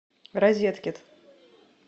розеткет